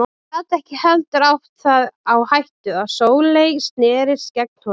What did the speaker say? Hann gat ekki heldur átt það á hættu að Sóley snerist gegn honum.